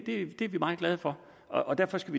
er vi meget glade for og derfor skal